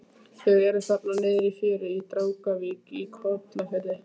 Þau eru þarna niðri í fjöru í Drangavík í Kollafirði.